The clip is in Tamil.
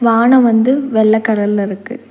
ஆன வந்து வெள்ள கலர்ல இருக்கு.